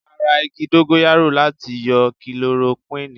Ara igi Dóngóyárò láti yọ Kilorokúnìì.